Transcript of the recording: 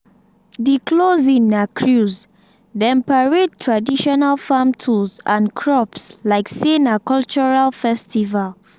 the closing na cruise dem parade traditional farm tools and crops like say na cultural festival